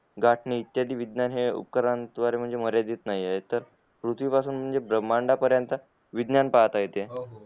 घालणे इतके विज्ञान म्हणजे उत्कलवरी मर्यादित नाहीये पृथ्वी पासून म्हणजे ब्रँण्ड पर्यंत विज्ञानां पाहता येते